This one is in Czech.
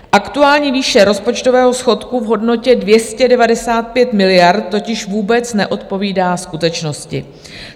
Aktuální výše rozpočtového schodku v hodnotě 295 miliard totiž vůbec neodpovídá skutečnosti.